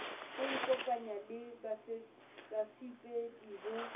ho ikopanya le bafepedi ho